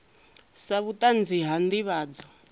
sa vhutanzi ha u ndivhadzo